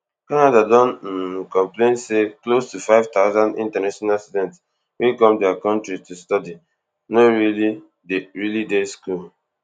canada don um complain say close to fifty thousand international students wey come dia kontri to study no really dey really dey school